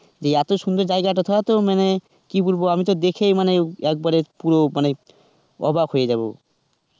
এই এতো সুন্দর জায়গায়টা তো মানে কি বলব আমি তো দেখেই মানে একবারে পুরো মানে অবাক হয়ে যাবো.